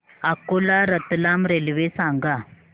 Akola Ratlam railway सांगा